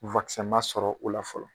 ma sɔrɔ o la fɔlɔ